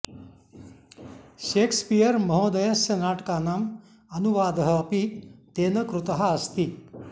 Shakespeare महोदयस्य नाटकानां अनुवादः अपि तेन कृतः अस्ति